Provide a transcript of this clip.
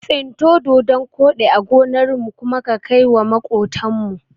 Tsinto dodon koɗi a gonarmu kuma ka kaiwa maƙotan mu.